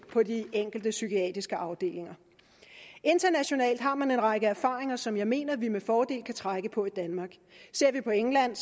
på de enkelte psykiatriske afdelinger internationalt har man en række erfaringer som jeg mener at vi med fordel kan trække på i danmark ser vi på england